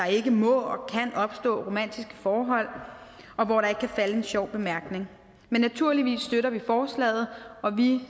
ikke må og kan opstå romantiske forhold og hvor der ikke kan falde en sjov bemærkning men naturligvis støtter vi forslaget og vi